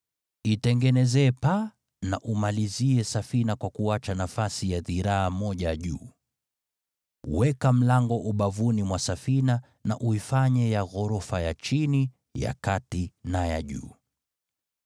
Itengenezee paa na umalizie safina kwa kuacha nafasi ya dhiraa moja juu. Weka mlango ubavuni mwa safina, na uifanye ya ghorofa ya chini, ya kati na ya juu.